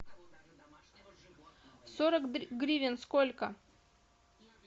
сорок гривен сколько